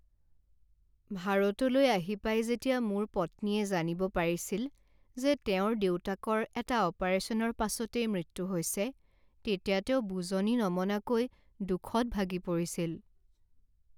ভাৰতলৈ আহি পাই যেতিয়া মোৰ পত্নীয়ে জানিব পাৰিছিল যে তেওঁৰ দেউতাকৰ এটা অপাৰেশ্যনৰ পাছতেই মৃত্যু হৈছে তেতিয়া তেওঁ বুজনি নমনাকৈ দুখত ভাগি পৰিছিল।